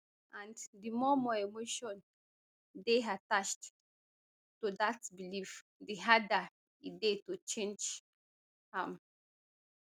and di more more emotion dey attached to dat belief di harder e dey to change am